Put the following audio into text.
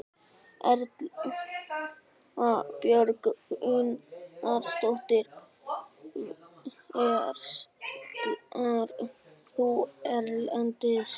Erla Björg Gunnarsdóttir: Verslar þú erlendis?